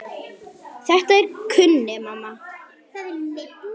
Þetta kunni mamma.